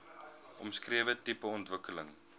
omskrewe tipe ontwikkeling